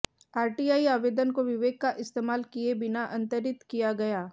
RTI आवेदन को विवेक का इस्तेमाल किए बिना अंतरित किया गया